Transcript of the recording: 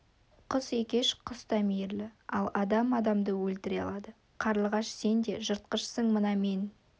құс екеш құс та мейірлі ал адам адамды өлтіре алады қарлығаш сен де жыртқышсың мына мен